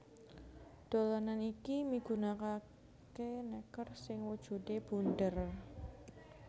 Dolanan iki migunakaké nèker sing wujudé bunder